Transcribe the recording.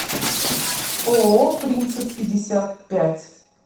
ооо принцип пятьдесят пять